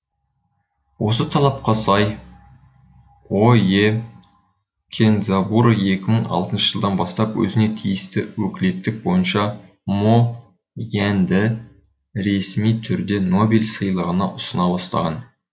осы талапқа сай ое кендзабуро екі мың алтыншы жылдан бастап өзіне тиісті өкілеттік бойынша мо яньды ресми түрде нобель сыйлығына ұсына бастаған